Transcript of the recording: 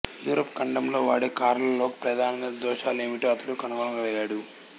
Europe ఖండంలో వాడే కార్లలోని ప్రధాన దోషాలెమిటో అతడు కనుక్కోగలిగాడు